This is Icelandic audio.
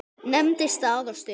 Nefndi stað og stund.